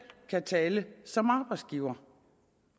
kan tale som arbejdsgiver